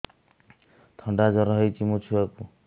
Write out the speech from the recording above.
ଥଣ୍ଡା ଜର ହେଇଚି ମୋ ଛୁଆକୁ